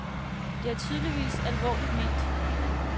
Det er tydeligvis alvorligt ment.